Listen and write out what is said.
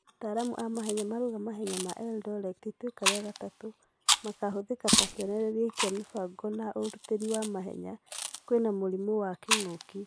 Ataramu a mahenya marauga mahenya ma Eldoret itũeka rĩa gatatũ makahũtheka ta kionereria kia mibango na urutiri wa mahenya kwĩna mũrimũ wa kĩng'ũki .